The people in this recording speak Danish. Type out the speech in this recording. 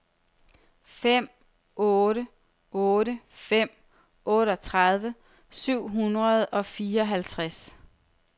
fem otte otte fem otteogtredive syv hundrede og fireoghalvtreds